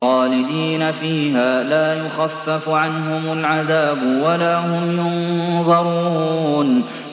خَالِدِينَ فِيهَا لَا يُخَفَّفُ عَنْهُمُ الْعَذَابُ وَلَا هُمْ يُنظَرُونَ